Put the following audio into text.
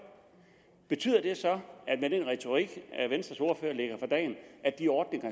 betyder det så med den retorik venstres ordfører lægger for dagen at de ordninger